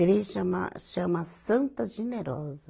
Chama, chama Santa Generosa.